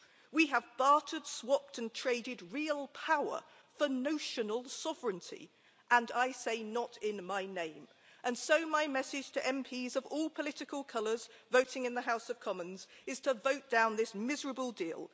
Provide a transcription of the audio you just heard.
We have bartered, swapped and traded real power for notional sovereignty, and I say not in my name. So my message to MPs of all political colours voting in the House of Commons is to vote down this miserable deal.